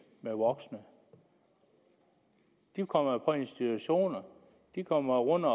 med voksne de kommer jo på institutioner de kommer under